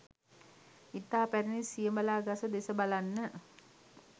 ඉතා පැරණි සියඹලා ගස දෙස බලන්න